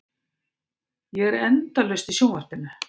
Ég er endalaust í sjónvarpinu.